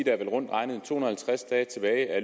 er vel rundt regnet to hundrede og halvtreds dage tilbage af